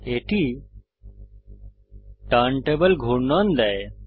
এটি টার্নটেবিল ঘূর্ণন দেয়